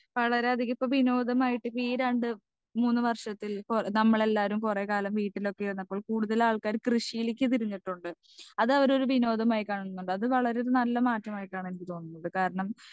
speaker 2 വളരെധികം ഇപ്പൊ വിനോദമായിട്ട് ഈ രണ്ട് മൂന്ന് വർഷത്തിൽ പ്പോ നമ്മൾ എല്ലാരും കൊറേ കാലം വീട്ടിലൊക്കെ ഇരുന്നപ്പോൾ കൂടുതൽ ആൾക്കാരും കൃഷിയില്ലെക്ക് തിരിഞ്ഞിട്ടുണ്ട് അതവര് ഒരു വിനോദമായി കാണുന്നുണ്ട് അത് വളരെ നല്ല മാറ്റമായിട്ടാണ് എനിക്ക് തോന്നുന്നത് കാരണം